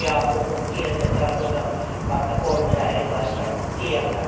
Kun puhun kielten, tarkoitan kahta kolmea erilaista kieltä.